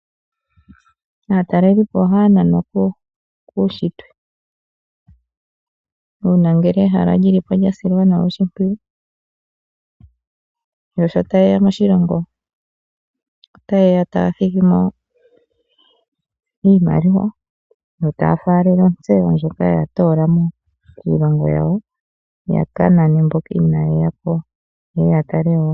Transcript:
Aatalelipo ohaya nanwa kuushitwe. Uuna ngele ehala lyi lipo lya simana. Yo sho taye ya moshilongo ota yeya taya thigimo iimaliwa. Yo taya faalele ontseyo ndjoka ta toola mo kiilongo yawo yakanane mboka inaya ya ko, yeye ya tale wo.